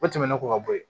O tɛmɛnen kɔ ka bɔ yen